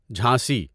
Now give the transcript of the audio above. Jhansi